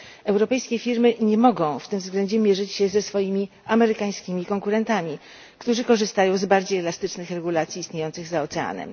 Europejskie firmy nie mogą w tym względzie mierzyć się ze swoimi amerykańskimi konkurentami, którzy korzystają z bardziej elastycznych regulacji istniejących za oceanem.